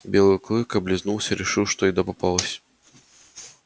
белый клык облизнулся и решил что еда попалась